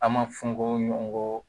An ma fɔ n ko ɲɔgɔnko